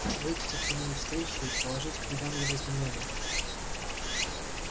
выдти к нему навстречу и положить к ногам его знамёна